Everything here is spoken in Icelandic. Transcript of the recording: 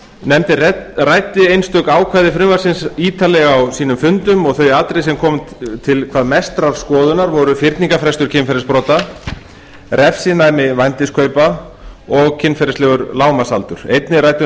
nefndin ræddi einstök ákvæði frumvarpsins ítarlega á fundum sínum þau atriði sem komu til hvað mestrar skoðunar voru fyrningarfrestur kynferðisbrota refsinæmi vændiskaupa og kynferðislegur lágmarksaldur einnig ræddu